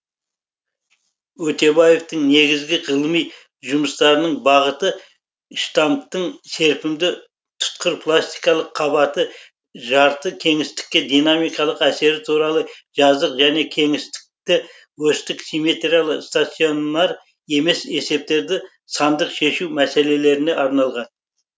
өтебаевтың негізгі ғылыми жұмыстарының бағыты штамптың серпімді тұтқырпластикалық қабатты жарты кеңістікке динамикалық әсері туралы жазық және кеңістікті осьтік симметриялы станционар емес есептерді сандық шешу мәселелеріне арналған